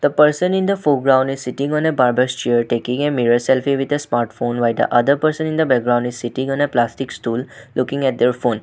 The person in the foreground is sitting on a barbers chair taking a mirror selfie with a smartphone while the other person in the background is sitting on a plastic stool looking at their phone.